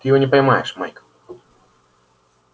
ты его не поймаешь майк